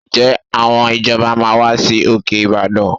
Ǹjẹ́ àwọn ìjọba máa wá sí òkè Ìbàdàn?